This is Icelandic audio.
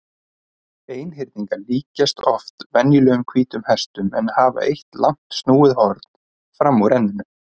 Einhyrningar líkjast oft venjulegum hvítum hestum en hafa eitt langt snúið horn fram úr enninu.